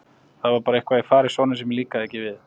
Það var bara eitthvað í fari Sonju sem mér líkaði ekki við.